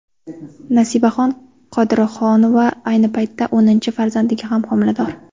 Nasibaxon Qodirohunova ayni paytda o‘ninchi farzandiga ham homilador.